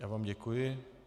Já vám děkuji.